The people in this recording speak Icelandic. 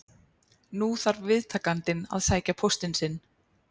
Nú þarf viðtakandinn að sækja póstinn sinn.